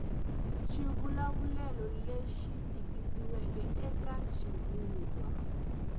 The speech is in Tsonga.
xivulavulelo lexi tikisiweke eka xivulwa